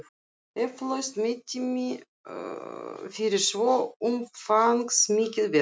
Eflaust mettími fyrir svo umfangsmikið verk.